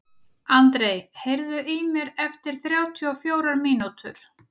André, heyrðu í mér eftir þrjátíu og fjórar mínútur.